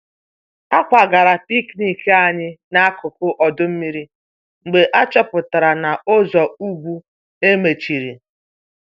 A kwagara picnic anyị n'akụkụ ọdọ mmiri mgbe achọpụtara na ụzọ ùgwù e mechiri